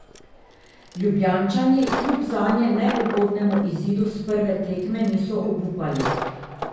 Ljubljančani kljub zanje neugodnemu izidu s prve tekme niso obupali.